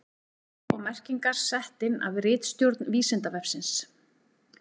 Texti og merkingar sett inn af ritstjórn Vísindavefsins.